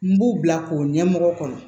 N b'u bila k'o ɲɛmɔgɔ kɔnɔ